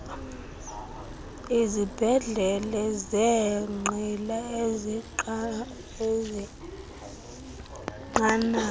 izibhedlele zeenqila ezenqanaba